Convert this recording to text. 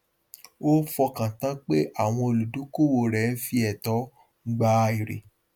ó fọkàn tán pé àwọn olùdókòwò rẹ ń fi ẹtọ gbà èrè